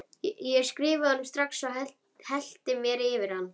Ég skrifaði honum strax og hellti mér yfir hann.